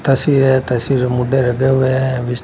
तस्वीर है तस्वीर में मुडे रगे हुए हैं विस--